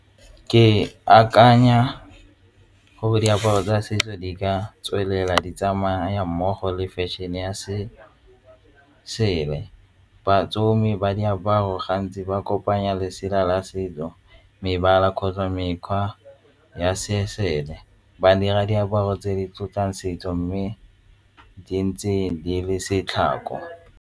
Ke akanya gore diaparo tsa setso di ka tswelela di tsamaya mmogo le fashion-e ya . Batsomj ba diaparo ga di ba kopanya lesela la setso, mebala kgotsa mekgwa ya se ba dira diaparo tse di tlotlang setso mme di ntse di le .